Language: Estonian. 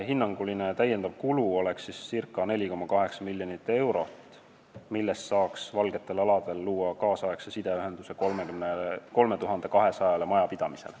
Hinnanguline täiendav kulu oleks ca 4,8 miljonit eurot, mille eest saaks "valgetel aladel" luua nüüdisaegse sideühenduse 3200 majapidamisele.